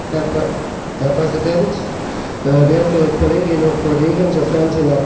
Herr Präsident, werte Kolleginnen und Kollegen, sofern Sie noch da sind!